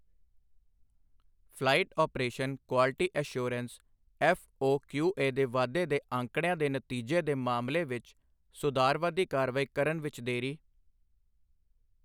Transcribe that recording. Flight operation quality assurance FOQA ਦੇ ਵਾਧੇ ਦੇ ਅੰਕੜਿਆਂ ਦੇ ਨਤੀਜੇ ਦੇ ਮਾਮਲੇ ਵਿਚ ਸੁਧਾਰਵਾਦੀ ਕਾਰਵਾਈ ਕਰਨ ਵਿਚ ਦੇਰੀ।